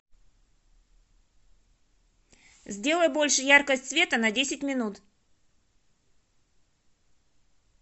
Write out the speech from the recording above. сделай больше яркость света на десять минут